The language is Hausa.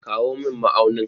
Kawo min ma'aunin.